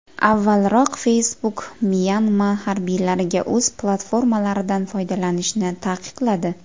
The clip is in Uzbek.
Avvalroq Facebook Myanma harbiylariga o‘z platformalaridan foydalanishni taqiqladi .